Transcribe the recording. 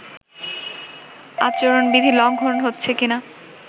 আচরণবিধি লঙ্ঘন হচ্ছে কিনা